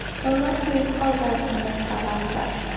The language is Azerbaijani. Onlar qoyub xalq arasında çıxarardılar.